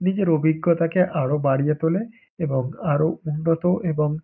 নিজের অভিজ্ঞতাকে আরও বাড়িয়ে তোলে এবং আরও উন্নত এবং--